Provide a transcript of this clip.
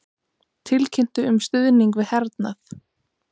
Tilkynntu um stuðning við hernað